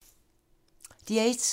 DR1